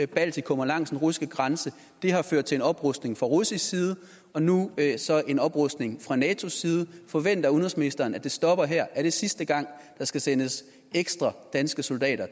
baltikum og langs den russiske grænse og det har ført til en oprustning fra russisk side og nu er der så en oprustning fra natos side forventer udenrigsministeren at det stopper her er det sidste gang der skal sendes ekstra danske soldater